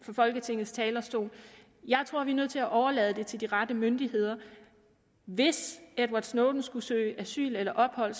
fra folketingets talerstol jeg tror vi er nødt til at overlade det til de rette myndigheder hvis edward snowden skulle søge asyl eller ophold